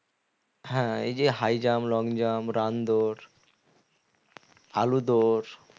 হ্যাঁ এই যে high jump long jump run দৌড় আলু দৌড়